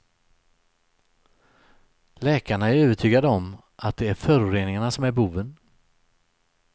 Läkarna är övertygade om att det är föroreningarna som är boven.